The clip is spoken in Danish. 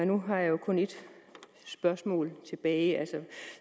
nu har jeg kun et spørgsmål tilbage